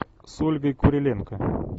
с ольгой куриленко